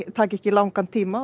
taki ekki langan tíma og